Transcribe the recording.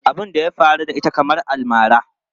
Abun da ya faru da ita kamar almara.